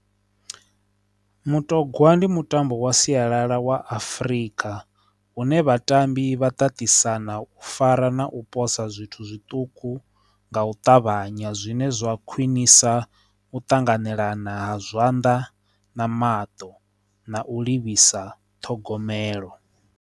Mutogwa ndi mutambo wa sialala wa Afrika une vhatambi vha tatisana u fara na u posa zwithu zwiṱuku nga u ṱavhanya zwine zwa khwinisa u tanganelana ha zwanḓa na maṱo na u livhisa ṱhogomelo.